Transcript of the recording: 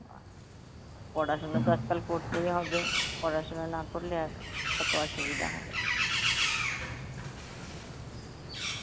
পড়াশুনা তো আজকাল করতেই হবে পড়াশোনা না করলে এক~ কত অসুবিধা হবে.